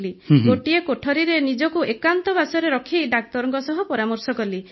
ଗୋଟିଏ କୋଠରିରେ ନିଜକୁ ଏକାନ୍ତବାସରେ ରଖି ଡାକ୍ତରଙ୍କ ସହ ପରାମର୍ଶ କଲି